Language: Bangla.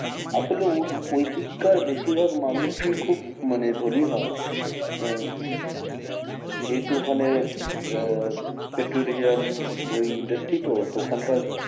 আসলে ও~ওইদিক কার বেশির ভাগ মানুষই খুব মানে ধোনি হয় আহ যেহেতু ওখানে আহ পেট্রোলিয়াম ওই industry তো, তো ওখানকার